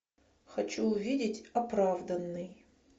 хочу увидеть оправданный